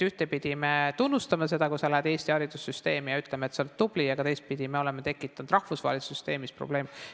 Ühtepidi me tunnustame seda, kui sa lähed õppima Eesti haridussüsteemi, ja ütleme, et sa oled tubli, aga teistpidi me oleme tekitanud rahvusvahelises süsteemis probleeme.